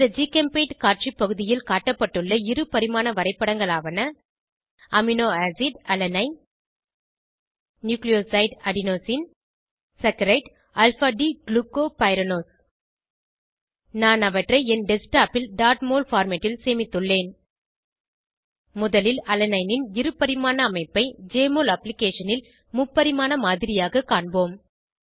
இந்த ஜிகெம்பெய்ண்ட் காட்சி பகுதியில் காட்டப்பட்டுள்ள இருபரிமாண வரைப்படங்களாவன amino acid Alanine nucleoside Adenosine saccharide Alpha D glucopyranose நாம் அவற்றை என் டெஸ்க்டாப் ல் mol பார்மேட் ல் சேமித்துள்ளேன் முதலில் அலனைனின் இருபரிமாண அமைப்பை ஜெஎம்ஒஎல் அப்ளிகேஷனில் ல் முப்பரிமாண மாதிரியாக காண்பொம்